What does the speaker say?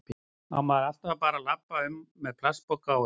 Á maður alltaf bara að labba um með plastpoka á hausnum?